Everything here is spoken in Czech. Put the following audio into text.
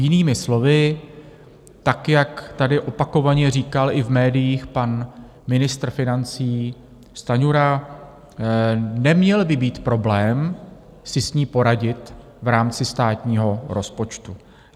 Jinými slovy, tak jak tady opakovaně říkal i v médiích pan ministr financí Stanjura, neměl by být problém si s ní poradit v rámci státního rozpočtu.